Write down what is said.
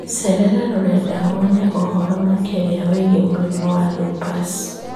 Cerera rũrenda wone ũhoro makĩria wĩgiĩ mũrimũ wa lupus